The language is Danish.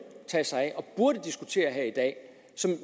tage sig af og burde diskutere her i dag